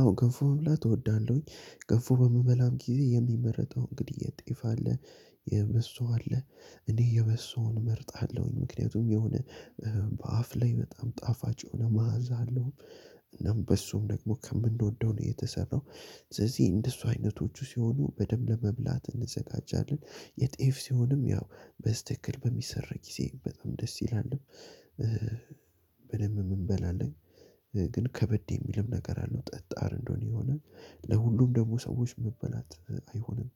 አወ ገንፉ መብላት እወዳለሁኝ ገንፉ በምበላም ጊዜ የሚመረጠው እንግዲህ የጤፋ አለ የበሶ አለ እኔ የበሶዉን እመርጣለሁኝ ምክንያቱም የሆነ በአፍ ላይ በጣም ጣፋጭ የሆነ መዓዛ አለው። እናም በሶዉም ደግሞ ከምንወደው ነው የተሰራው። ስለዚህ እንደሱ አይነቶቹ ሲሆኑ በደንብ ለመብላት እንዘጋጃለን የጤፍ ሲሆንም ያው በስትክክል በሚሰራ ጊዜ በጣም ደስ ይላል። በደንብም እን በላለን። ግን ከበድ የሚልም ነገር አለው ጠጣር እንደሆነ የሆነ ለሁሉም ደግሞ ሰዎች መበላት አይሆንም።